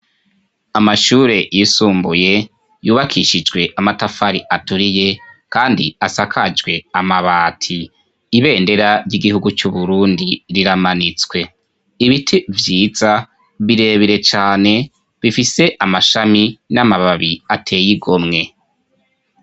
Amashure yisumbuye yubakishijwe amatafari aturiye kandi asakajwe amabati ibendera ry'igihugu cu' Burundi riramanitswe ibiti vyiza birebire cane bifise amashami n'amababi ateye igomwe.